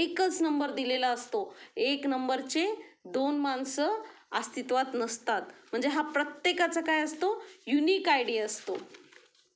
एकाच नंबर दिलेला असतो एक नंबर चे दोन माणसं अस्तित्वात नसतात म्हणजे हा प्रत्येकाचा काय असतो? युनिक आय डी असतो.